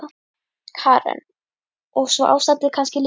Karen: Og svo ástandið kannski líka?